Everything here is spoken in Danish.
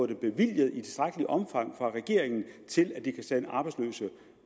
det bevilget i tilstrækkeligt omfang af regeringen til at de kan sende arbejdsløse